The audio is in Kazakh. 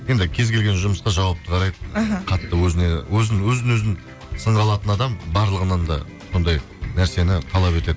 енді кез келген жұмысқа жауапты қарайды іхі қатты өзін өзін сынға алатын адам барлығынан да сондай нәрсені талап етеді